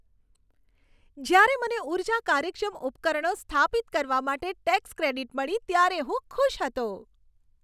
જ્યારે મને ઊર્જા કાર્યક્ષમ ઉપકરણો સ્થાપિત કરવા માટે ટેક્સ ક્રેડિટ મળી ત્યારે હું ખુશ હતો.